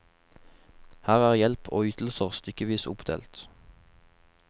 Her er hjelp og ytelser stykkevis oppdelt.